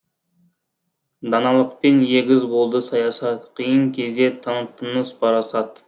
даналықпен егіз болды саясат қиын кезде таныттыңыз парасат